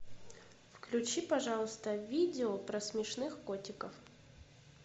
включи пожалуйста видео про смешных котиков